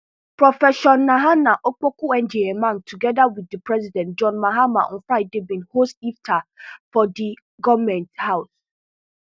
profession naana opokuagyemang togeda wit di president john mahama on friday bin host iftar for di goment house